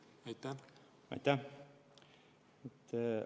Aitäh!